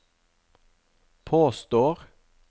påstår